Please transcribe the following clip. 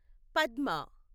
Padma